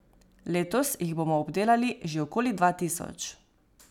Letos jih bomo obdelali že okoli dva tisoč.